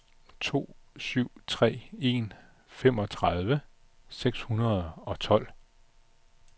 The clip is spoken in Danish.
to syv tre en femogtredive seks hundrede og tolv